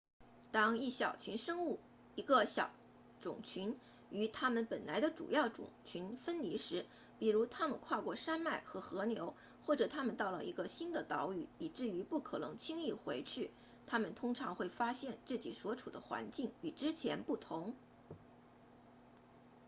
当一小群生物一个小种群与它们本来的主要种群分离时比如它们跨过山脉和河流或者它们到了一个新的岛屿以至于不可能轻易回去它们通常会发现自己所处的环境与之前不同